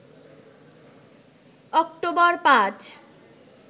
October ৫